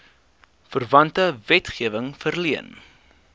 verwante wetgewing verleen